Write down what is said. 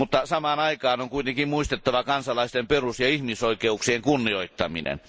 Samaan aikaan on kuitenkin muistettava kansalaisten perus ja ihmisoikeuksien kunnioittaminen.